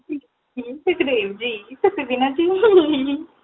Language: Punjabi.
ਸੁਖਦੇਵ ਜੀ ਤੁਸੀਂ ਵੀ ਨਾ